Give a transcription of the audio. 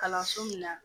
Kalanso min na